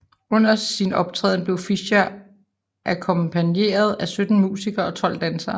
Under sin optræden blev Fischer akkompagneret af 17 musikere og 12 dansere